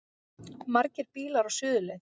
Margir bílar á suðurleið